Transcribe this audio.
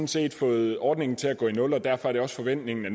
set fået ordningen til at gå i nul derfor er det også forventningen at